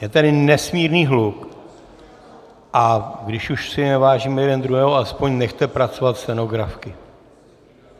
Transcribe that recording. Je tady nesmírný hluk, a když už si nevážíme jeden druhého, alespoň nechte pracovat stenografky.